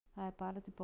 Það er bara til bóta